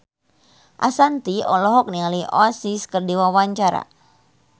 Ashanti olohok ningali Oasis keur diwawancara